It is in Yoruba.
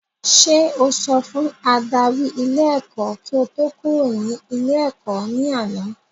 Sé o sọ fún adarí ilé ẹ́kọ́ kí o tó kúrò ní ilé ẹ̀kọ́ ní àná?